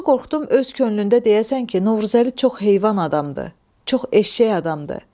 Doğrusu qorxdum, öz könlündə deyəsən ki, Novruzəli çox heyvan adamdır, çox eşşək adamdır.